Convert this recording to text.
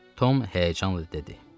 Tom həyəcanla dedi.